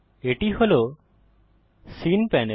এটি হল scene panel